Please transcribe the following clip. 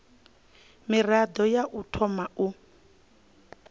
mirado ya u thoma u